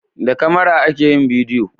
da kamara ake yin bidiyo